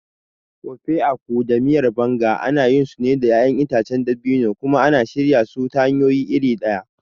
Ofe Akwu da Miyar Banga ana yinsu da ƴaƴan itacen dabino ne kuma ana shirya su ta hanyoyi iri ɗaya.